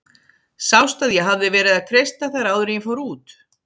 Sást að ég hafði verið að kreista þær áður en ég fór út?